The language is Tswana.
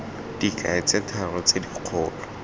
dikai tse tharo tse dikgolo